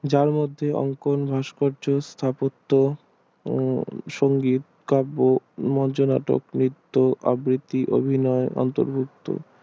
যার মধ্যে অঙ্কন ভাস্কর্য স্থাপত্যও সংগীত কাব্য